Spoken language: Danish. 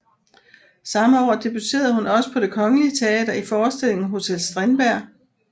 Samme år debuterede hun også på Det Kongelige Teater i forestillingen Hotel Strindberg